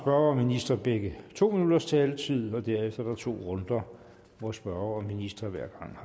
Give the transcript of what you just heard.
og minister begge to minutters taletid og derefter er der to runder hvor spørger og minister hver gang